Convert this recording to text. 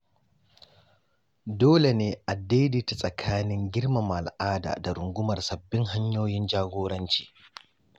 Dole ne a daidaita tsakanin girmama al’ada da rungumar sabbin hanyoyin jagoranci.